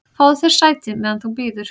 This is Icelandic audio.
"""Fáðu þér sæti, meðan þú bíður"""